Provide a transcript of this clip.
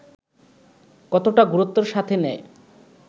কতটা গুরুত্বের সাথে নেয়